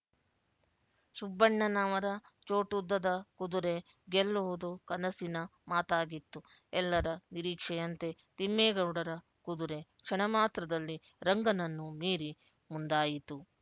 ಸುಬ್ಬಣ್ಣನವರ ಚೋಟುದ್ದದ ಕುದುರೆ ಗೆಲ್ಲುವುದು ಕನಸಿನ ಮಾತಾಗಿತ್ತು ಎಲ್ಲರ ನಿರೀಕ್ಷೆಯಂತೆ ತಿಮ್ಮೇಗೌಡರ ಕುದುರೆ ಕ್ಷಣಮಾತ್ರದಲ್ಲಿ ರಂಗನನ್ನು ಮೀರಿ ಮುಂದಾಯಿತು